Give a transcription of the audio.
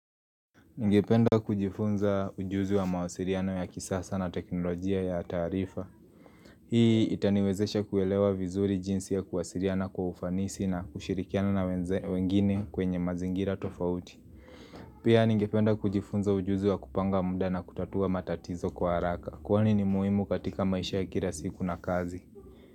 Ngependa kujifunza ujuzi wa mawasiliano ya kisasa na teknolojia ya taarifa. Hii itaniwezesha kuelewa vizuri jinsi ya kuwasiliana kwa ufanisi na kushirikiana na wengine kwenye mazingira tofauti. Pia nngependa kujifunza ujuzi wa kupanga muda na kutatua matatizo kwa haraka. Kwani ni muhimu katika maisha ya kira siku na kazi.